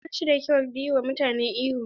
Ba shi da kyau yi wa mutane ihu.